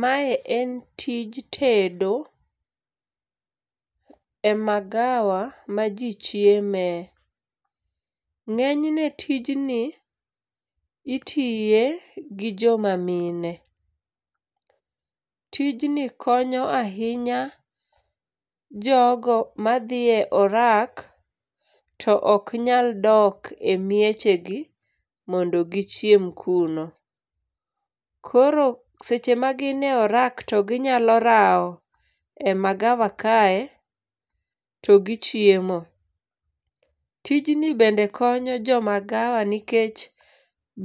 Ma en tij tedo e magawa ma jii chieme. Ng'enyne tijni itiye gi joma mine. Tijni konyo ahinya jogo madhie orak to oknyal dok e miechegi mondo gichiem kuno. Koro seche magine orak to ginyalo rao e magawa kae to gichiemo. Tijni bende konyo jo magawa nikech